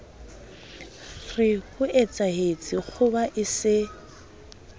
re hoetsahetse kgoba e se